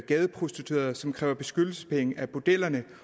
gadeprostituerede og som kræver beskyttelsespenge af bordellerne